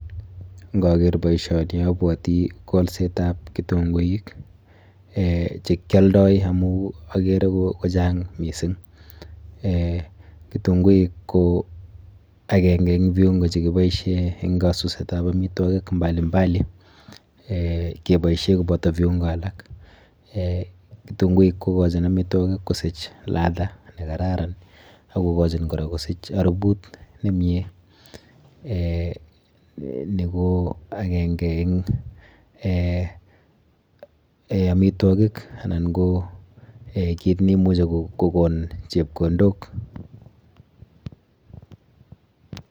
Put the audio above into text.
Nkaker boisioni abwoti kolsetap kitunkuik eh chekyoldoi amu akere kochang mising. Eh kitunkuik ko akenke eng viungo chekiboishe eng kasusetap amitwokik mbali mbali eh keboishe koboto viungo alak. Eh kitunkuik kokochin amitwokik kosich ladha nekararan ak kokochin kora kosich haruput nemie. Eh ni ko akenke eng eh amitwokik anan ko kit nimuchi kokon chepkondok.